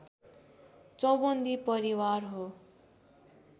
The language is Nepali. चौबन्दी परिवार हो